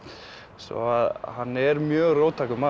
svo að hann er mjög róttækur maður